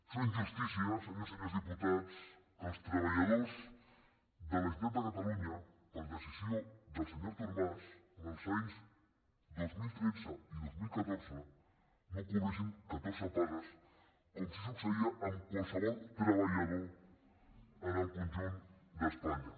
és una injustícia senyores i senyors diputats que els treballadors de la generali·tat de catalunya per decisió del senyor artur mas els anys dos mil tretze i dos mil catorze no cobressin catorze pagues com sí que succeïa amb qualsevol treballador en el conjunt d’espanya